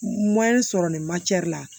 sɔrɔ nin la